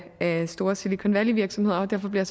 af store silicon valley virksomheder og derfor bliver